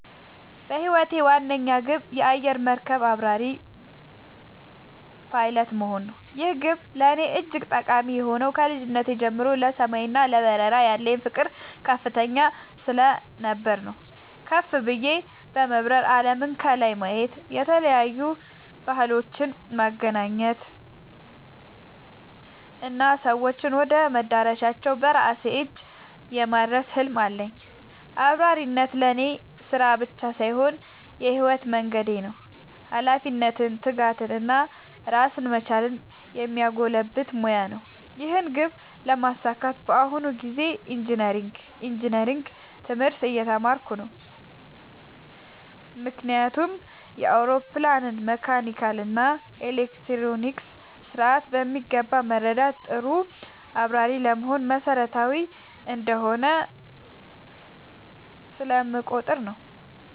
የህይወቴ ዋነኛ ግብ የአየር መርከብ አብራሪ (Pilot) መሆን ነው። ይህ ግብ ለእኔ እጅግ ጠቃሚ የሆነው ከልጅነቴ ጀምሮ ለሰማይ እና ለበረራ ያለኝ ፍቅር ከፍተኛ ስለነበር ነው። ከፍ ብዬ በመብረር አለምን ከላይ የማየት፣ የተለያዩ ባህሎችን የማገናኘት እና ሰዎችን ወደ መዳረሻቸው በራሴ እጅ የማድረስ ህልም አለኝ። አብራሪነት ለእኔ ስራ ብቻ ሳይሆን የህይወት መንገዴ ነው - ኃላፊነትን፣ ትጋትን እና ራስን መቻልን የሚያጎለብት ሙያ ነው። ይህን ግብ ለማሳካት በአሁኑ ጊዜ ኢንጂነሪንግ (Engineering) ትምህርት እየተማርኩ ነው። ምክንያቱም የአውሮፕላንን መካኒካል እና ኤሌክትሮኒክስ ስርዓት በሚገባ መረዳት ጥሩ አብራሪ ለመሆን መሰረታዊ እንደሆነ ስለምቆጠር ነው።